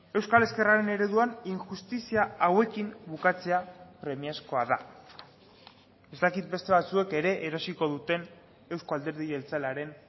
euskal ezkerraren ereduan injustizia hauekin bukatzea premiazkoa da ez dakit beste batzuek ere erosiko duten euzko alderdi jeltzalearen